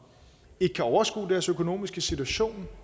ikke kan overskue deres økonomiske situation